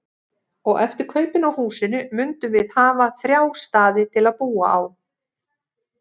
Og eftir kaupin á húsinu mundum við hafa þrjá staði til að búa á.